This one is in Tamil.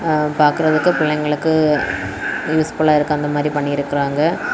எ பாக்குறதுக்கு பிள்ளைங்களுக்கு யூஸ்புல்லா இருக்கு அந்த மாதிரி பண்ணிருக்காங்க.